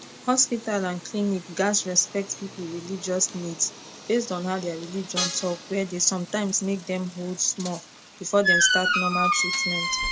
hospital and clinic gats respect people religious needs based on how their religion talkwere dey sometimes make dem hold small before dem start normal treatment